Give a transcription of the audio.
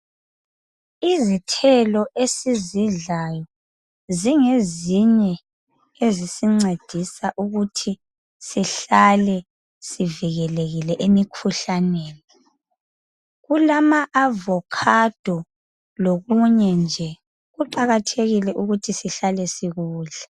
Izithelo esizidlayo zingezinye ezisincedisa ukuthi sihlale sivikelekile emikhuhlaneni. Kulama avokhado lokunye nje kuqakathekile ukuthi sihlale sikudla.